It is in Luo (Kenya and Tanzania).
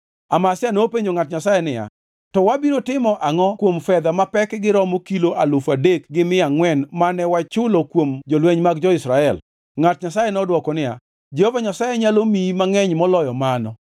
Amazia nopenjo ngʼat Nyasaye niya, “To wabiro timo angʼo kuom fedha mapekgi romo kilo alufu adek gi mia angʼwen mane wachulo kuom jolweny mag jo-Israel?” Ngʼat Nyasaye nodwoko niya, “Jehova Nyasaye nyalo miyi mangʼeny moloyo mano.”